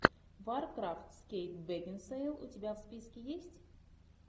варкрафт с кейт бекинсейл у тебя в списке есть